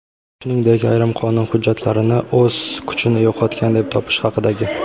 shuningdek ayrim qonun hujjatlarini o‘z kuchini yo‘qotgan deb topish haqidagi;.